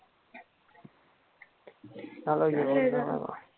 झालं जेवण